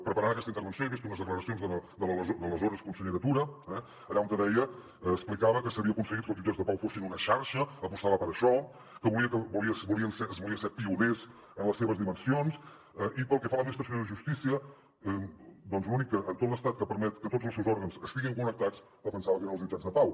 preparant aquesta intervenció he vist unes declaracions de l’aleshores consellera tura eh allà on deia explicava que s’havia aconseguit que els jutjats de pau fossin una xarxa apostava per això que es volia ser pioner en les seves dimensions i pel que fa a l’administració de justícia l’única en tot l’estat que permet que tots els seus òrgans estiguin connectats defensava que eren els jutjats de pau